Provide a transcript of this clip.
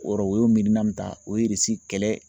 O yɔrɔ o y'o miirina mun ta o ye Irisi kɛlɛ